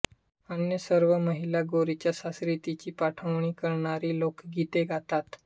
अन्य सर्व महिला गौरीच्या सासरी तिची पाठवणी करणारी लोकगीते गातात